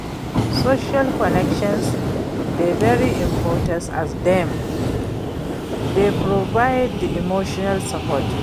social connections dey very important as dem dey provide di emotional support.